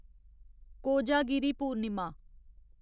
Kojagiri Purnima